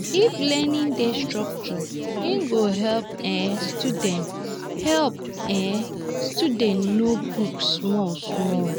if learning dey structure e go help um students help um students know book small small.